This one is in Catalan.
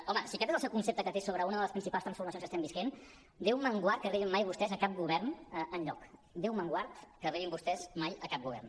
home si aquest és el concepte que té sobre una de les principals transformacions que estem vivint déu me’n guard que arribin mai vostès a cap govern enlloc déu me’n guard que arribin vostès mai a cap govern